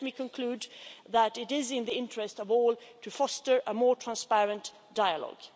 Let me conclude that it is in the interests of all to foster a more transparent dialogue.